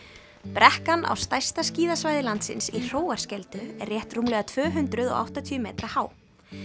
brekkan á stærsta skíðasvæði landsins í Hróarskeldu er rétt rúmlega tvö hundruð og áttatíu metra há